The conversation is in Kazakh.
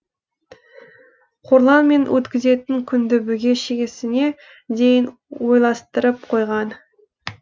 қорланмен өткізетін күнді бүге шегесіне дейін ойластырып қойған